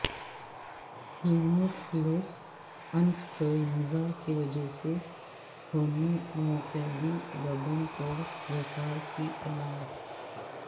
Haemophilus influenza کی وجہ سے ہونے متعدی گردن توڑ بخار کی علامات